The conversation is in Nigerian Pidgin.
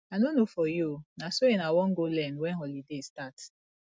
i no know for you oo na sewing i wan go learn wen holiday start